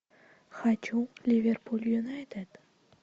хочу ливерпуль юнайтед